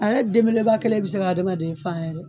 A yɛrɛ den beleba kelen bɛ se ka d'a ma fan yɛrɛ.